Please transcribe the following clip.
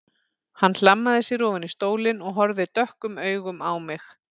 Hann hlammaði sér ofan í stólinn og horfði dökkum augum á mig.